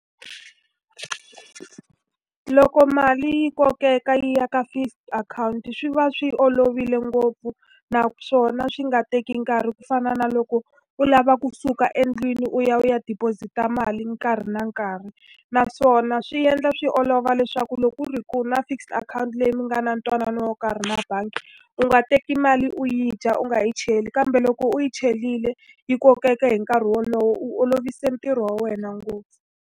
Loko mali yi kokeka yi ya ka fixed akhawunti swi va swi olovile ngopfu, naswona swi nga teki nkarhi ku fana na loko u lava kusuka endlwini u ya u ya deposit-a mali nkarhi na nkarhi. Naswona swi endla swi olova leswaku loko ku ri ku u na fixed akhawunti leyi mi nga na ntwanano wo karhi na bangi, u nga teki mali u yi dya u nga yi cheli. Kambe loko u yi cherile, yi kokeka hi nkarhi wolowo u olovise ntirho wa wena ngopfu.